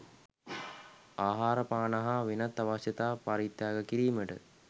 ආහාරපාන හා වෙනත් අවශ්‍යතා පරිත්‍යාග කිරීමට